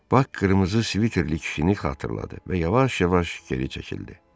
Bak qırmızı sviterli kişini xatırladı və yavaş-yavaş geri çəkildi.